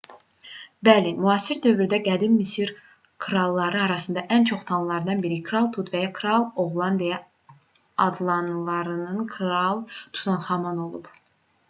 bəli müasir dövrdə qədim misir kralları arasında ən çox tanınanlardan biri kral tut və ya kral oğlan deyə adlandırılan kral tutanxamun olub